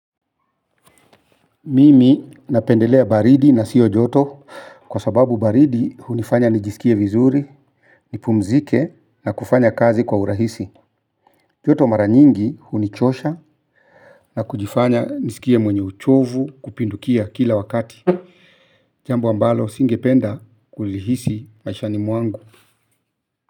Mimi napendelea baridi na siyo joto. Kwa sababu baridi hunifanya nijisikie vizuri. Nipumzike na kufanya kazi kwa urahisi. Joto mara nyingi hunichosha. Na kujifanya nisikie mwenye uchovu kupindukia kila wakati jambu ambalo singependa kulihisi maishani mwangu.